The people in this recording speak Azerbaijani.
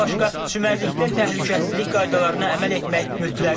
Bundan başqa çimərlikdə təhlükəsizlik qaydalarına əməl etmək mütləqdir.